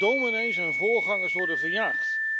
Dominees en voorgangers worden verjaagd.